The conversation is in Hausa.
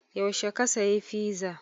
Yaushe ka sayi fiza?